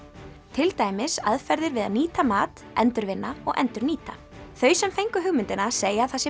til dæmis aðferðir við að nýta mat endurvinna og endurnýta þau sem fengu hugmyndina segja að það sé